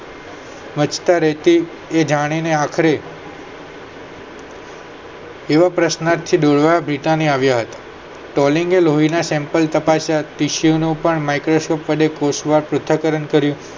એ જાણીને આખરે આવા પ્રશ્નાર્થથી આવ્યા હતા તેલલિંગએ લોહીના sample નું પણ microscope વડે કોષમાં પૃથક્કરણ કર્યું